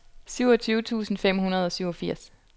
syvogtyve tusind fem hundrede og syvogfirs